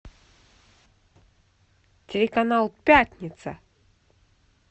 телеканал пятница